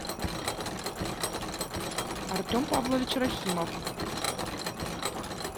артем павлович рахимов